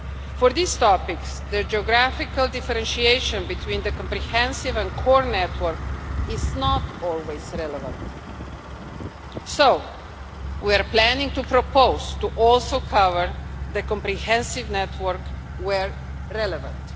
For these topics, the geographical differentiation between the comprehensive and Core Network is not always relevant, so we are planning to propose to also cover the comprehensive network where relevant.